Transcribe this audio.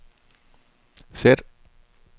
sæt